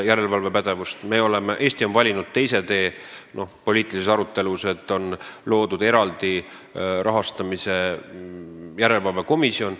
Eesti on poliitilises arutelus valinud teise tee ja meil on rahastamise järelevalveks loodud eraldi komisjon.